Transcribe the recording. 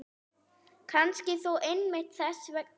Kannski þó einmitt þess vegna.